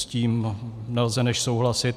S tím nelze než souhlasit.